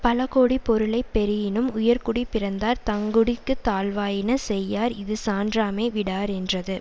பல கோடி பொருளை பெறியினும் உயர்குடிப்பிறந்தார் தங்குடிக்குத் தாழ்வாயின செய்யார் இது சான்றாமை விடாரென்றது